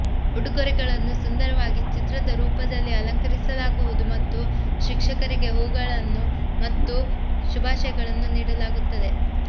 ಉಡುಗೊರೆಗಳನ್ನು ಸುಂದರವಾಗಿ ಚಿತ್ರದ ರೂಪದಲ್ಲಿ ಅಲಂಕರಿಸಲಾಗುವುದು ಮತ್ತು ಶಿಕ್ಷಕರಿಗೆ ಹೂವುಗಳು ಮತ್ತು ಶುಭಾಶಯಗಳನ್ನು ನೀಡಲಾಗುತ್ತದೆ